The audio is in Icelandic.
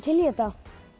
í þetta